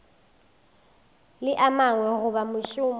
le a mangwe goba mošomo